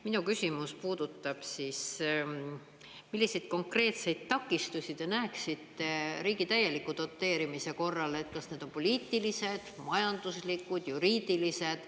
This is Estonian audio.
Minu küsimus puudutab siis, milliseid konkreetseid takistusi te näeksite riigi täieliku doteerimise korral, kas need on poliitilised, majanduslikud, juriidilised.